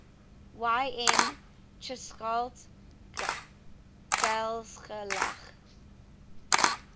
yn cheshaght ghailckagh